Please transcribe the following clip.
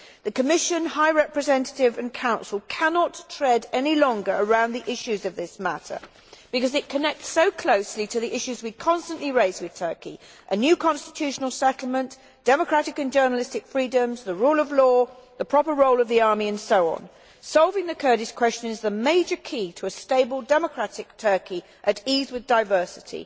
The Commission, High Representative and Council cannot tread any longer around the issues of this matter because it connects so closely with the issues we constantly raise with Turkey a new constitutional settlement, democratic and journalistic freedoms, the rule of law, the proper role of the army and so on. Solving the Kurdish question is the major key to a stable democratic Turkey at ease with diversity.